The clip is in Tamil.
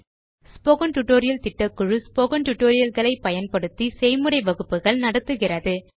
ஸ்போக்கன் டியூட்டோரியல் திட்டக்குழு ஸ்போக்கன் டியூட்டோரியல் களை பயன்படுத்தி செய்முறை வகுப்புகள் நடத்துகிறது